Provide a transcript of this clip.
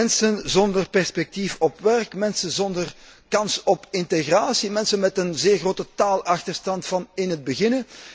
Mensen zonder perspectief op werk, mensen zonder kans op integratie, mensen met een zeer grote taalachterstand vanaf het begin.